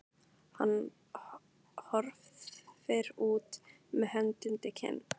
Hann horfir út með hönd undir kinn.